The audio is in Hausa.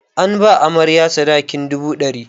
An ba amarya sadakin dubu ɗari.